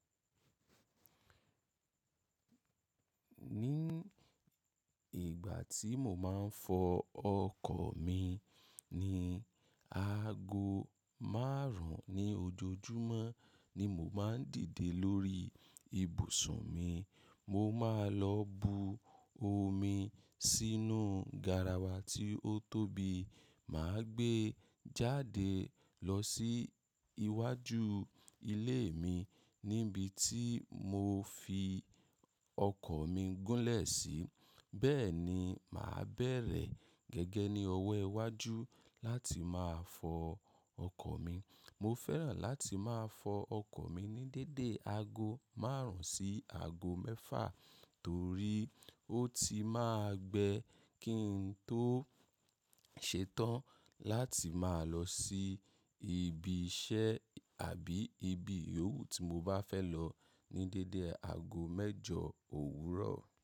Ní ìgbà tí mo máa ń fọ ọkọ̀ mi ni aago márùn ún ní ojoojúmọ́ ni mo máa ń dìde lórí ibùsùn mi. Mo máa lọ bu omi sínú garawa tí ó tóbi. Mà á gbé jáde lọ sí iwájú ilé mi níbi tí mo fi ọkọ̀ mi gúnlẹ̀ sí. Beeni ma bèrè gege ni owó iwájú lati maa fo okò mi Mo fẹ́ràn láti máa fọ ọkọ̀ mi ní dédé aago márùn ún sí aago mẹ́fà torí ó ti máa gbẹ kí n tó ṣe tán láti máa lọ sí ibi iṣẹ́ àbí ibi òwú tí mo bá fẹ́ lọ ní dédé aago mẹ́jọ òwúrọ̀.